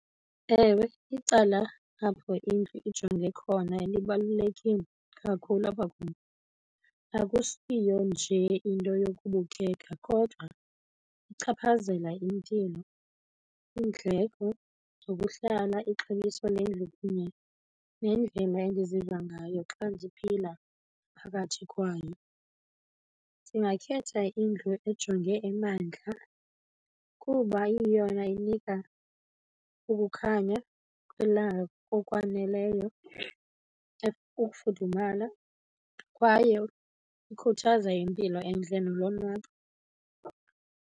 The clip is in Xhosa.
Ewe, icala apho indlu ijonge khona libalulekile kakhulu apha kum. Akusiyo njee into yokubukeka kodwa ichaphazela impilo, iindleko zokuhlala, ixabiso lendlu kunye nendlela endiziva ngayo xa ndiphila phakathi kwayo. Ndingakhetha indlu ejonge emantla kuba iyeyona inika ukukhanya kwelanga okwaneleyo, ukufudumala kwaye ikhuthaza impilo entle nolonwabo.